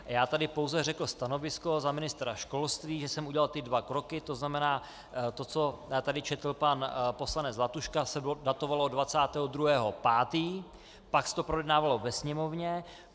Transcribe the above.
Já tady pouze řekl stanovisko za ministra školství, že jsem udělal ty dva kroky, to znamená to, co tady četl pan poslanec Zlatuška, se datovalo 22. 5., pak se to projednávalo ve Sněmovně.